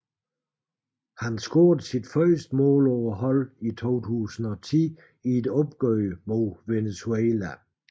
Han scorede sit første mål for holdet i 2010 i et opgør mod Venezuela